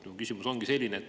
Mu küsimus ongi selline.